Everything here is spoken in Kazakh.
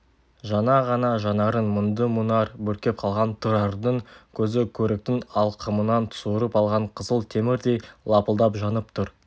жаңа ғана жанарын мұңды мұнар бүркеп қалған тұрардың көзі көріктің алқымынан суырып алған қызыл темірдей лапылдап жанып тұр